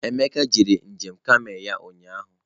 Emeka gara njem kamel ya ụnyahụ.